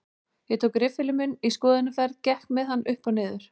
Ég tók riffilinn minn í skoðunarferð, gekk með hann upp og nið